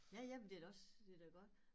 Ja jamen det da også det da godt